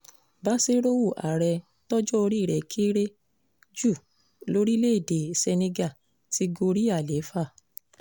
basiru àrẹ tọ́jọ́ orí rẹ̀ kéré jù lóríléèdè senegal ti gorí àlééfà